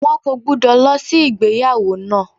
Wọn kò gbúdọ̀ lọ sí ìgbéyàwó náà.